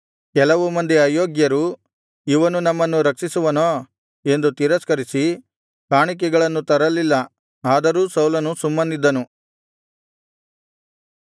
ಕೆಲವು ಮಂದಿ ಅಯೋಗ್ಯರು ಇವನು ನಮ್ಮನ್ನು ರಕ್ಷಿಸುವನೋ ಎಂದು ತಿರಸ್ಕರಿಸಿ ಕಾಣಿಕೆಗಳನ್ನು ತರಲಿಲ್ಲ ಆದರೂ ಸೌಲನು ಸುಮ್ಮನಿದ್ದನು